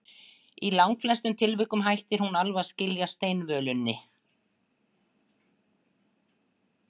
Í langflestum tilvikum hætti hún alveg að skila steinvölunni.